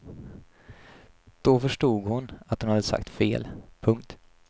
Då förstod hon att hon hade sagt fel. punkt